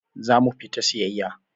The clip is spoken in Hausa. Za mu fita siyayya.